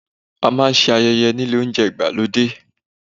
A máa ń ṣe ayẹyẹ nílé oúnjẹ ìgbàlódé.